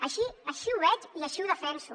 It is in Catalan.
així així ho veig i així ho defenso